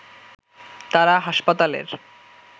তারা হাসপাতালের